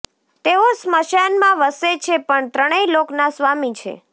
તેઓ સ્મશાનમાં વસે છે પણ ત્રણેય લોકના સ્વામી છે